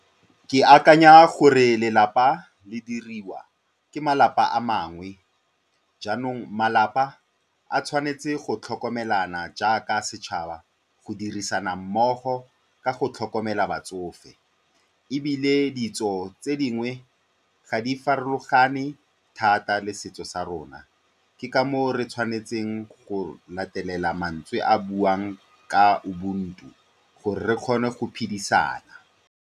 Ke akanya gore lelapa le diriwa ke malapa a mangwe, jaanong malapa a tshwanetse go tlhokomelana jaaka setšhaba, go dirisana mmogo ka go tlhokomela batsofe. Ebile ditso tse dingwe ga di farologane thata le setso sa rona, ke ka moo re tshwanetseng go latelela mantswe a a buang ka ubuntu gore re kgone go phedisana.